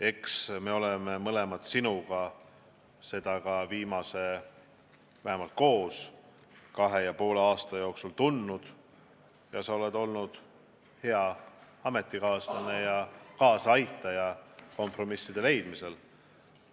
Eks me oleme mõlemad sinuga seda viimase kahe ja poole aasta jooksul tundnud ja sa oled olnud hea ametikaaslane ja kaasaaitaja kompromisside leidmisel.